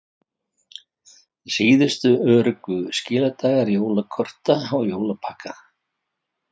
Síðustu öruggu skiladagar jólakorta og jólapakka